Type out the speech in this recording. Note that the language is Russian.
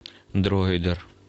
дроидер